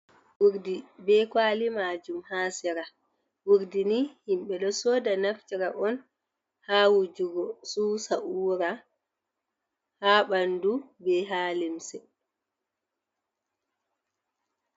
Urdi be kwali majum ha sera urdi ni himɓe ɗo soda naftira on ha wujugo susa’ura ha ɓandu be ha lemse.